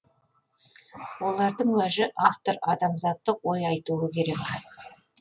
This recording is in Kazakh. олардың уәжі автор адамзаттық ой айтуы керек